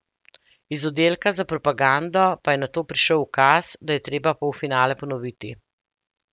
Iz oddelka za propagando pa je nato prišel ukaz, da je treba polfinale ponoviti.